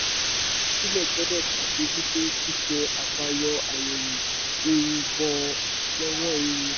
olùdásílẹ̀ gbọ́dọ̀ ṣàmójútó ṣíṣe àfàyọ/àyẹ̀wò ewu bọ́ lọ́wọ́ ewu.